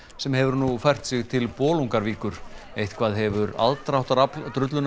sem hefur nú fært sig til Bolungarvíkur eitthvað hefur aðdráttarafl